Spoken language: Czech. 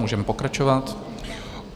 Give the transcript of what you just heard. Můžeme pokračovat.